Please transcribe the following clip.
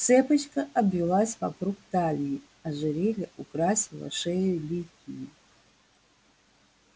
цепочка обвилась вокруг талии ожерелье украсило шею ликии